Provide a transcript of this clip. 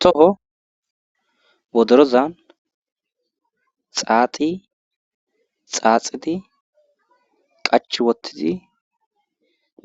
toho wodorozan xaaxi xaaxidi qachi wottidi